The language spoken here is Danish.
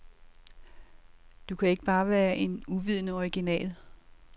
Du kan ikke bare være en uvidende original.